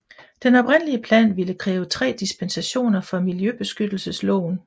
Den oprindelige plan ville kræve tre dispensationer fra Miljøbeskyttelsesloven